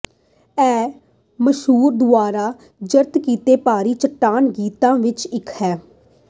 ਇਹ ਸਮੂਹ ਦੁਆਰਾ ਦਰਜ ਕੀਤੇ ਭਾਰੀ ਚੱਟਾਨ ਗੀਤਾਂ ਵਿਚੋਂ ਇਕ ਹੈ